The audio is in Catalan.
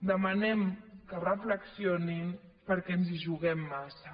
demanem que reflexionin perquè ens hi juguem massa